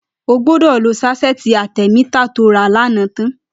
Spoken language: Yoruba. Ó gbọ̀dọ̀ ló sáṣẹ̀ti átẹ̀mità tó rà lànã tãn